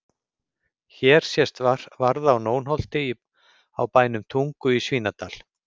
Hér sést varða á Nónholti á bænum Tungu í Svínadal.